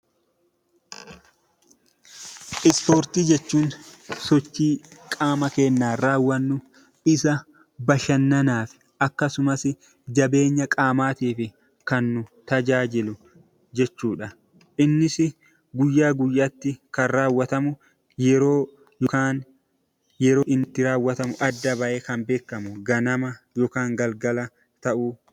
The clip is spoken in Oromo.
Ispoortii jechuun sochii qaama keenyaan raawwannu isa bashannanaaf akkasumas jabeenya qaamaaf kan nu tajaajilu jechuudha. Innis guyyaa guyyaatti kan raawwatamu yeroo inni itti adda ba'ee raawwatamu kan beekamuu yookiin ganama ganama yookiin galgala galgala ta'uu danda'a.